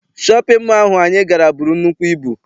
Shọpịn mọọ ahụ anyị gara buru nnukwu ibu.